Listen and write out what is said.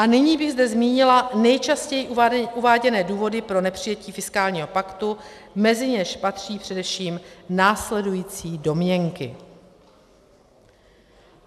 A nyní bych zde zmínila nejčastěji uváděné důvody pro nepřijetí fiskálního paktu, mezi něž patří především následující domněnky.